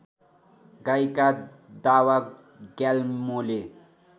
गायिका दावा ग्याल्मोले